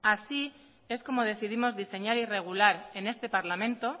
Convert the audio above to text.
así es como decidimos diseñar y regular en este parlamento